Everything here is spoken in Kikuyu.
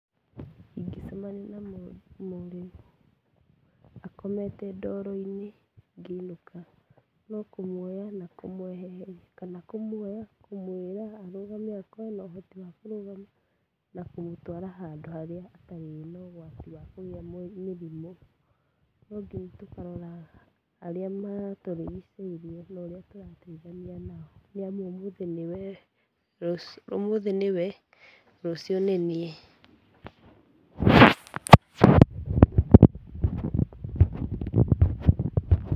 Ingĩcemania na mũrĩu akomete ndoro-inĩ ngĩinũka no kũmuoya na kũmweheheria, kana kũmwĩra arũgame akorwo ena na ũhoti wa kũrũgama, na kũmũtwara handũ harĩa hatarĩ na ũgwati wa kũgĩa mĩrimũ. No nginya tũkaroraga arĩa matũrigicĩirie na ũrĩa tũrateithania nao. Nĩ amu ũmũthĩ nĩ we, rũciũ, ũmũthĩ nĩ wee, rũciũ nĩ niĩ.